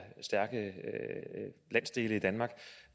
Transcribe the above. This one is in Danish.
landsdele i danmark